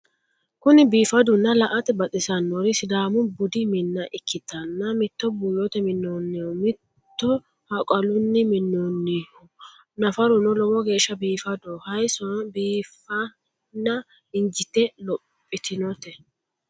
Kuni biifaddunna la"ate baxissannori sidaamu budu minna ikkitanna mito buuyyote minnonniho mito haqalunni minnonniho nafaruno lowo geeshsa biifadoho hayisono biiffenna injite lophitinnote.